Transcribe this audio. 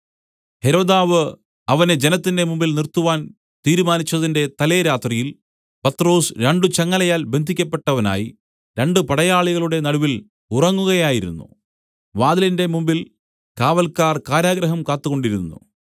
ഹെരോദാവ് അവനെ ജനത്തിന്റെ മുമ്പിൽ നിർത്തുവാൻ തീരുമാനിച്ചതിന്റെ തലേരാത്രിയിൽ പത്രൊസ് രണ്ടു ചങ്ങലയാൽ ബന്ധിയ്ക്കപ്പെട്ടവനായി രണ്ട് പടയാളികളുടെ നടുവിൽ ഉറങ്ങുകയായിരുന്നു വാതിലിന്റെ മുമ്പിൽ കാവല്ക്കാർ കാരാഗൃഹം കാത്തുകൊണ്ടിരുന്നു